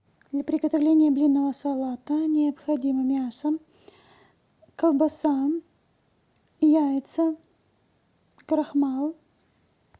для приготовления блинного салата необходимо мясо колбаса яйца крахмал